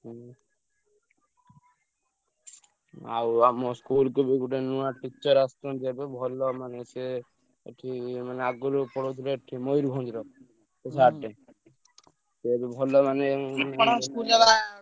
ହୁଁ। ଆଉ ଆମ school କୁ ବି ଗୋଟେ ନୂଆ teacher ଆସିଛନ୍ତି ଏବେ ଭଲ ମାନେ ସିଏ ଏଠି ମାନେ ଆଗୁରୁ ପଢଉଥିଲେ ଏଠି ମୟୂରଭଞ୍ଜରେ ସେ ସିଏବି ଭଲ ମାନେ ।